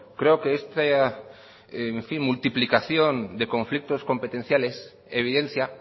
creo que esta multiplicación de conflictos competenciales evidencia